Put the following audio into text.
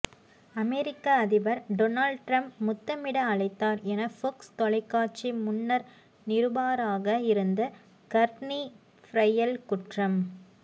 அமொிக்க அதிபர் Donald Trump முத்தமிட அழைத்தார் என ஃபொக்ஸ் தொலைக்காட்சி முன்னர் நிருபாராக இருந்த கர்ட்னி பிரையல் குற்றம்